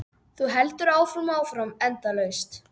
Þú heldur áfram og áfram, endalaust.